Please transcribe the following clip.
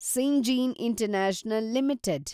Syngene international limited